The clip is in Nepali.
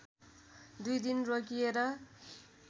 दुई दिन रोकिएर